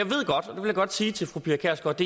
vil jeg godt sige til fru pia kjærsgaard